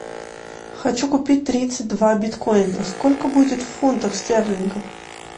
хочу купить тридцать два биткоина сколько будет в фунтах стерлингов